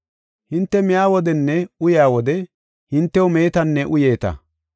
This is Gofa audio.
Hinte miya wodenne uyaa wode hintew meetanne uyeeta.